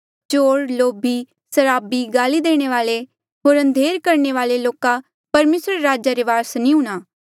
चोर लोभी सराबी गाल्ई देणे वाले होर अंधेर करणे वाले लोका परमेसरा रे राजा रे वारस नी हुणा